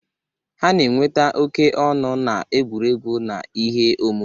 Ha na-enweta oke ọnụ n'egwuregwu na ihe omume.